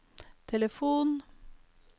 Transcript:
telefon